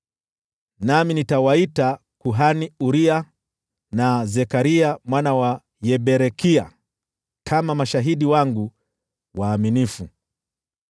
Nami nitawaita kuhani Uria, na Zekaria mwana wa Yeberekia kama mashahidi wangu waaminifu.”